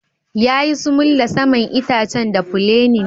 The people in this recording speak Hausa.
Yayi sumul da saman itacen da fulenin.